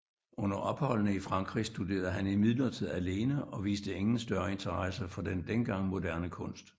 Under opholdene i Frankrig studerede han imidlertid alene og viste ingen større interesse for den dengang moderne kunst